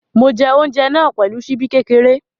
Mo jẹ oúnjẹ náà pẹ̀lú ṣíbí kékeré.